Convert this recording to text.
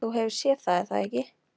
Þú hefur séð það er það ekki?